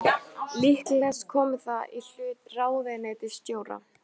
Líklegast komi það í hlut ráðuneytisstjóra